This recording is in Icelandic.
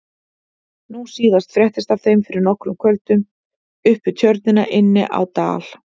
Nú síðast fréttist af þeim fyrir nokkrum kvöldum upp við Tjörnina inni á Dal.